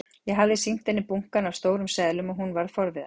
Ég hafði sýnt henni bunkann af stórum seðlum og hún varð forviða.